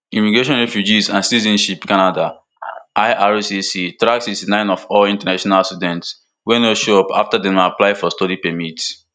immigration refugees and citizenship canada ircc track sixty-nine of all international students wey no show up afta dem apply for study permit